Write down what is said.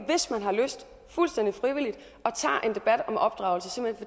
hvis man har lyst og tager en debat om opdragelse og